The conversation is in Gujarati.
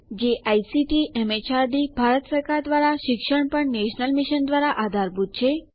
જે આઇસીટી એમએચઆરડી ભારત સરકાર દ્વારા શિક્ષણ પર નેશનલ મિશન દ્વારા આધારભૂત છે